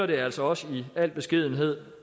vi altså også i al beskedenhed